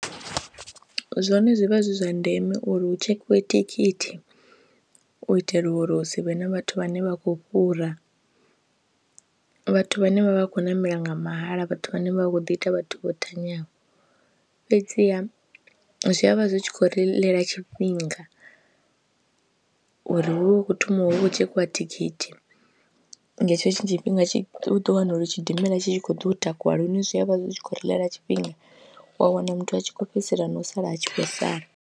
Zwone zwi vha zwi zwa ndeme uri hu tshekhiwe thikhithi u itela uri hu si vhe na vhathu vhane vha khou fhura, vhathu vhane vha vha khou ṋamela nga mahala, vhathu vhane vha vha khou ḓi ita vhathu vho thanyani fhedziha zwi a vha zwi tshi khou ri ḽela tshifhinga uri hu vhe hu khou thoma hu vha hu tshekhiwa thikhithi nga hetsho tshifhinga tshi u ḓo wana uri tshidimela tshi tshi khou ḓo u takuwa lune zwi a vha zwi tshi khou ri ḽela tshifhinga wa wana muthu a tshi khou fhedzisela na u sala a tshi khou sala.